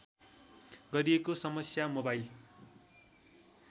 गरिएको समस्या मोबाइल